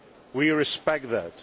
We respect